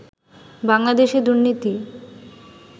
বাংলাদেশে দুর্নীতি